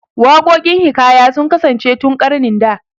Waƙokin hiƙaya sun kasance tun ƙarnin da